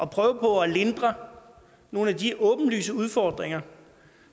prøve på at lindre nogle af de åbenlyse udfordringer